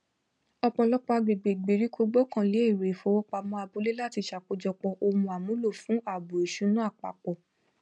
ọpọlọpọ agbègbè ìgbèríko gbọkànlé èrò ifowópamọ abúlé láti ṣakojọpọ ohun àmúlò fún ààbò ìṣúná apapọ